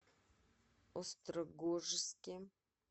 острогожске